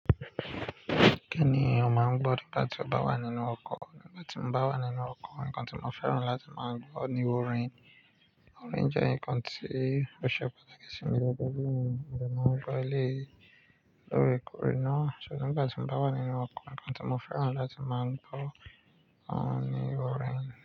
Kí ni ò máa ń gbọ́ nígbà tí o bá wà nínú ọkọ̀? Nígbà ti n ba wa nínú oko nkan ti mo fẹ́ràn láti ma gbo ni orin. Orin jẹ́ nǹkan tí ó ṣe pàtàkì sí mi gẹ́gẹ́ bí ènìyàn. Mo dẹ̀ máa ń gbọ́ eléyìí lóòrèkóòrè náà. Ṣo nígbà tí mo bá wà nínú ọkọ̀, nǹkan tí mò fẹ́ràn láti máa gbọ́ òun ni orin.